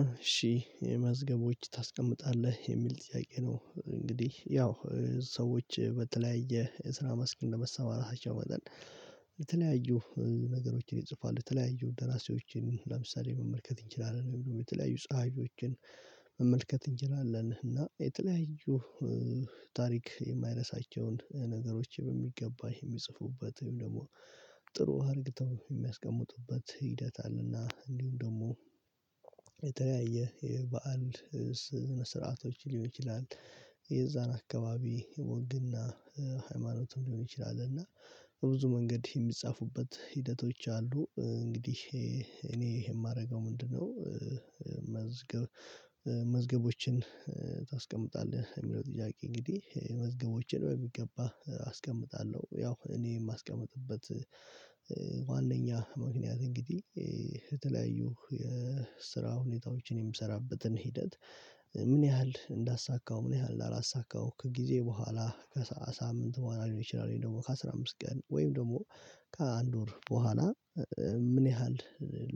እሺህ መዝገቦች ታስቀምጣለህ የሚል ጥያቄ ነው? እንግዲህ ያው ሰዎች በተለያየ የስራ ማስክ እንደመሰማራታቸው መጠን። የተለያዩ ነገሮችን ይጽፋሉ የተለያዩ ደራሲዎችን ለምሳሌ መመልከት እንችላለን ወይም የተለያዩ ፀሀፊዎችን መመልከት እንችላለን። እና የተለያዩ ታሪክ የማይረሳቸውን ነገሮች በሚገባህ የሚጽፉበት ወይም ደግሞ ጥሩ ሀርግተው የሚያስቀምጡበት ሂደት አለና። እንዲሁም ደግሞ የበአል ስርዓቶች ሊሆን ይችላል የዛን አካባቢ ወግና ሃይማኖትም ሊሆን ይችላል። እና ብዙ መንገድ የሚጻፉበት ሂደቶች አሉ። እንግዲህ እኔ ይሄ የማደርገው ምንድነው? መዝገብ መዝገቦችን ታስቀምጣለህ የሚለው ጥያቄ እንግዲህ መዝገቦችን በሚገባ አስቀምጣለሁ። ያው እኔ የማስቀምጥበት ዋናኛ ምክንያት እንግዲህ የተለያዩ የስራ ሁኔታዎችን የምሰራበትን ሂደት። ምን ያህል እንዳሳካው ምን ያህል እንዳላሳካውም ከጊዜ በኋላ ከሳምንት በኋላ ሊሆን ይችላል ወይም ደግሞ ከአሥራ አምስት ቀን ወይም ደግሞ ከአንድ ወር በኋላ ምን ያህል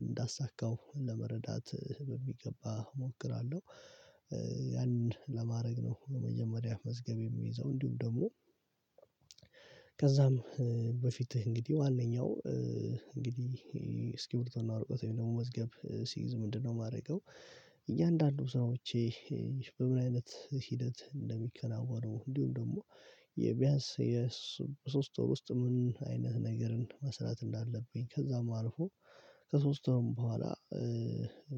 እንዳሳካው ለመረዳት በሚገባ እሞክራለሁ። ያንን ለማድረግ ነው። ለመጀመሪያ መዝገብ የሚይዘው እንዲሁም ደግሞ ከዛም በፊትህ እንግዲህ ዋነኛው እንግዲህ እስኪሪብቶና ወረቀት ወይም ደግሞ መዝገብ ሲይዝ ምንድነው የማደርገው? እያንዳንዱ ሰዎች በምን አይነት ሂደት እንደሚከናወነው እንዲሁም ደግሞ የቢያንስ የሶስት ወር ውስጥ ምን አይነት ነገርን መስራት እንዳለብኝ ከዛም አልፎ ከሶስት ወርም በኋላ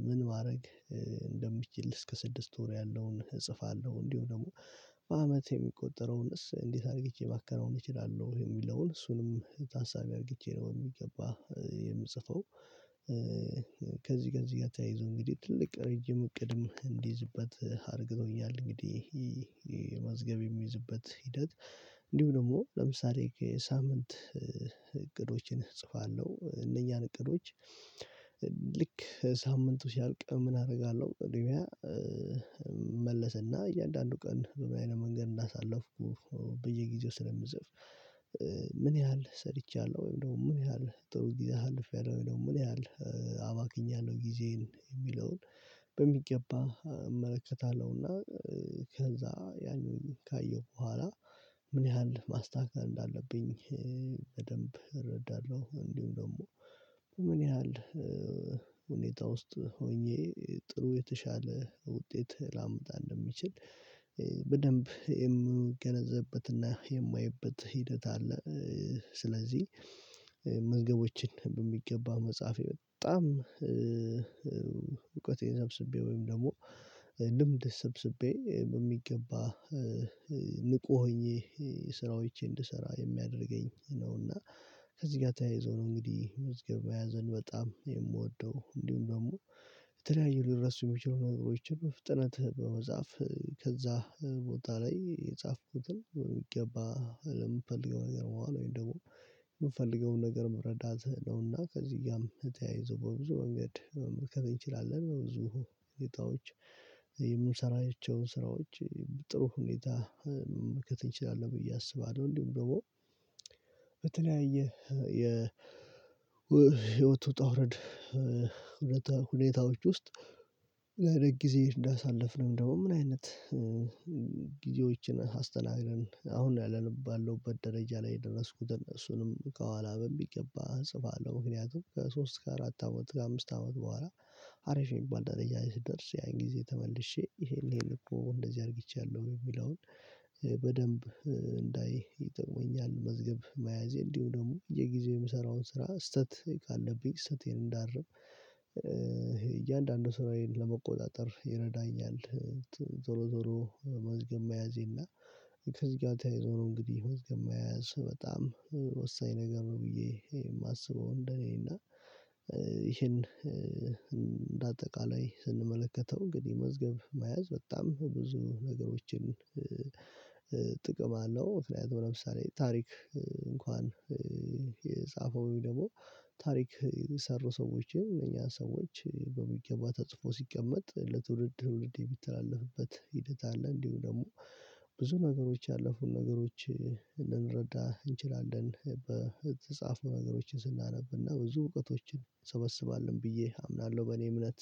ምን ማድረግ እንደምችል እስከ ስድስት ወር ያለውን እጽፋለሁ እንዲሁ ደግሞ በአመት የሚቆጠረውንስ እንዴት አርጊቼ ማከናወን እችላለሁ የሚለውን እሱንም ታሳቢ አርጌቼ ነው የሚገባ የምጽፈው። ከዚህ ከዚህ ጋር ተያይዞ እንግዲህ ትልቅ ረጅም እቅድም እንዲይዝበት አድርገውኛል። እንግዲህ ይሄ መዝገብ የሚይዝበት ሂደት። እንዲሁ ደግሞ ለምሳሌ ሳምንት እቅዶችን እጽፋለሁ። እነኛን እቅዶች ልክ ሳምንቱ ሲያልቅ ምን አደርጋለሁ እንደገና? እመለሰና እያንዳንዱ ቀን በምን አይነት መንገድ እንዳሳለፍኩ በየጊዜው ስለምጽፍ። ምን ያህል ሰርቻለሁ ወይም ደግሞ ምን ያህል ጥሩ ጊዜ አልፌያለሁ ወይም ደግሞ ምን ያህል አባክኛለሁ ነው ጊዜን የሚለውን። በሚገባ እመለከታለሁና። ከዛ ያንኑ ካየሁ በኋላ ምን ያህል ማስተካከል እንዳለብኝ? በደንብ እረዳለሁ እንዲሁም ደግሞ ምን ያህል ሁኔታ ውስጥ ሆኜ ጥሩ የተሻለ ውጤት ላምጣ እንደሚችል በደንብ የምገነዘብበትና የማየበት ሂደት አለ። ስለዚህ መዝገቦችን በሚገባ መጽሐፌ በጣም እውቀቴን ሰብስቤ ወይም ደግሞ ልምድ ሰብስቤ በሚገባ ንቁ ሆኜ ስራዎቼ እንድሰራ የሚያደርገኝ ነው። እና ከዚህ ጋር ተያይዞ ነው እንግዲህ መዝገብ መያዘን በጣም የምወደው። እንዲሁም ደግሞ የተለያዩ ሊረሱ የሚችሉ ነገሮችን በፍጥነት በመጻፍ ከዛ ቦታ ላይ የጻፍኩትን በሚገባ ለምፈልገው ነገር በኋላ ወይም ደግሞ የምፈልገውን ነገር መረዳት ነውና። ከዚህ ጋርም ተያይዞ በብዙ መንገድ መከብያችን እንችላለን። ብዙ ሁኔታዎች የምንሰራቸውን ስራዎች ጥሩ ሁኔታ መከተል እንችላለን ብዬ አስባለሁ። እንዲሁም ደግሞ በተለያየ የህይወቱ ውጣውረድ። ሁኔታዎች ውስጥ ምን አይነት ጊዜ እንዳሳለፍነው ደግሞ ምን አይነት ጊዜዎችን አስተናግደን አሁን ነው ባለሁበት ደረጃ ላይ የደረስኩትን እሱንም ከኋላ በሚገባ እጽፋለሁ። ምክንያቱም ከሶስት ከአራት አመት ከአምስት አመት በኋላ አሪፍ የሚባል ደረጃ ስደርስ ያን ጊዜ ተመልሼ ይሄን ይሄን እኮ እንደዚህ አርጊቻለሁ የሚለውን በደንብ እንዳይ ይጠቅመኛል። መዝገብ መያዜ እንዲሁ ደግሞ የጊዜ የምሰራውን ስራ ስህተት ካለብኝ ስህተቴን እንዳርም እያንዳንዱን ስራዬን ለመቆጣጠር ይረዳኛል። ዞሮ ዞሮ መዝገብ መያዜና ከእዚጋ ተያይዞ ዞሮ እንግዲህ መዝገብ መያዝ በጣም ወሳኝ ነገር ነው። ብዬ የማስበው እንደኔ እና ይሄን እንደ አጠቃላይ ስንመለከተው እንግዲህ መዝገብ መያዝ በጣም ብዙ ነገሮችን ጥቅም አለው። ምክንያቱም ለምሳሌ ታሪክ እንኳን የጻፈው ወይ ደግሞ ታሪክ የሰሩ ሰዎችን እኛ ሰዎች በሚገባ ተጽፎ ሲቀመጥ ለትውልድ ትውልድ የሚተላለፍበት ሂደት አለ። እንዲሁ ደግሞ ብዙ ነገሮች ያለፉን ነገሮች ልንረዳ እንችላለን። በተጻፉ ነገሮችን ስናነብና ብዙ እውቀቶችን እሰበስባለሁ ብዬ አምናለሁ በእኔ እምነት